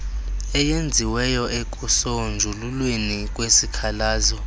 eyenziweyo ekusonjululweni kwesikhalazo